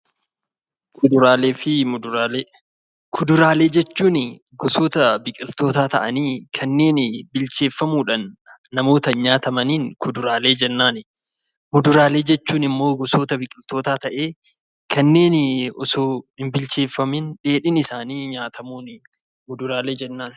Kuduraalee jechuun gosoota biqiltootaa ta'anii kanneeni bilcheeffamuudhaan namootaan nyaatamaniin kuduraalee jennaan. muduraalee jechuun immoo gosoota biqiltootaa ta'ee, kanneen osoo hin bilcheeffamiin dheedhiin isaanii nyaatamuun muduraalee jennaan.